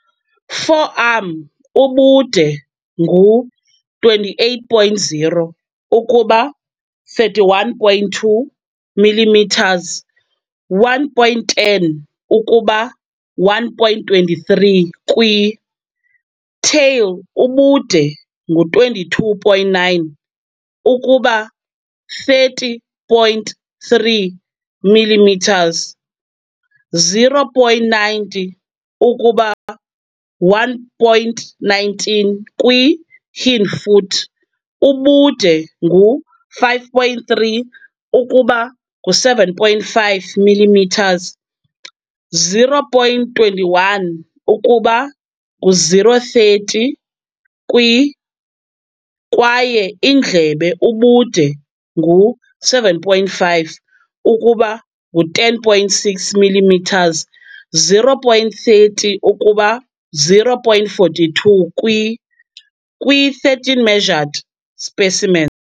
Forearm ubude ngu 28.0 ukuba 31.2 mm, 1.10 ukuba 1.23 kwi, tail ubude ngu 22.9 ukuba 30.3 mm, 0.90 ukuba 1.19 kwi, hindfoot ubude ngu 5.3 ukuba ngu-7.5 mm, 0.21 ukuba ngu-0.30 kwi, kwaye indlebe ubude ngu-7.5 ukuba ngu-10.6 mm, 0.30 ukuba 0.42 kwi, kwi-13 measured specimen.